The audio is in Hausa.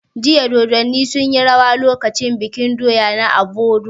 Jiya Dodanni sun yi rawa lokacin bikin doya na Obodu